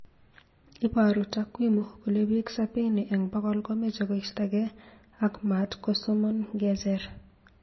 Iboru takwimu kole biik sabini eng bokol komeche koistagei a maatkosom ng'echer